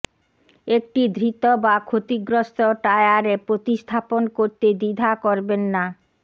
একটি ধৃত বা ক্ষতিগ্রস্ত টায়ারে প্রতিস্থাপন করতে দ্বিধা করবেন না